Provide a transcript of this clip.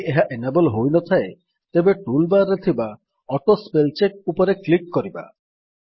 ଯଦି ଏହା ଏନାବଲ୍ ହୋଇନଥାଏ ତେବେ ଟୁଲ୍ ବାର୍ ରେ ଥିବା ଅଟୋସ୍ପେଲଚେକ ଉପରେ କ୍ଲିକ୍ କରିବା